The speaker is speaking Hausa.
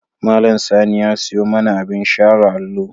Malam Sani ya siyo mana abin share allo.